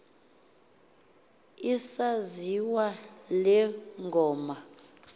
isaziwa le ngoma